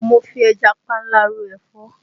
Mo fi ẹja panla ròfọ́